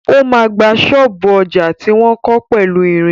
O ma gba ṣọ́ọ̀bú ọjà tí wọ́n kọ́ pẹ̀lú ìrìn.